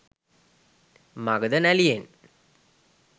Magadha නැළියෙන්